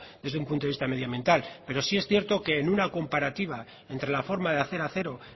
desde un punto de vista medioambiental pero sí es cierto que en una comparativa entre la forma de hacer acero